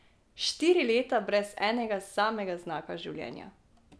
Štiri leta brez enega samega znaka življenja.